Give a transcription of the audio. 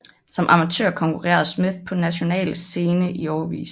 Som amatør konkurrerede Smith på nationale scene i årevis